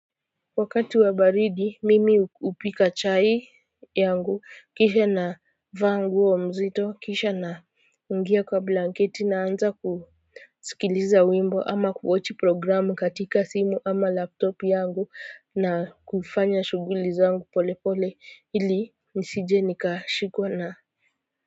Wakati wa baridi mimi hupika chai yangu kisha na vaa nguo mzito kisha na kuingia kwa blanketi naanza kusikiliza wimbo ama kuwatch programu katika simu ama laptop yangu na kufanya shughuli zangu pole pole ili nisije nikashikwa na.